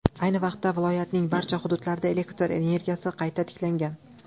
Ayni vaqtda viloyatning barcha hududlarida elektr energiyasi qayta tiklangan.